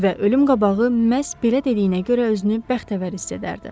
Və ölüm qabağı məhz belə dediyinə görə özünü bəxtəvər hiss edərdi.